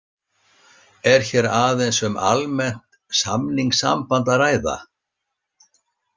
Er hér aðeins um almennt samningssamband að ræða.